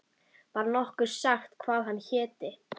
Var nokkuð sagt hvað hann héti?